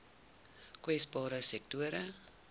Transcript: kwesbare sektore